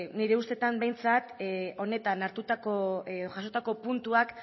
nire ustetan behintzat honetan jasotako puntuak